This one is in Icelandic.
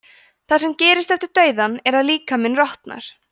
það sem gerist eftir dauðann er að líkaminn rotnar